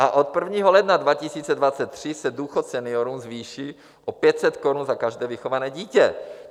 A od 1. ledna 2023 se důchod seniorům zvýší o 500 korun za každé vychované dítě.